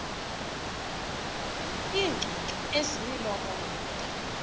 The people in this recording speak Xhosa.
iingcungcu ezimilomo mide